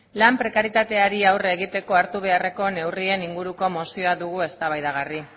lan prekarietateari aurre egiteko hartu beharrezko neurrien inguruko mozio dugu eztabaidagarri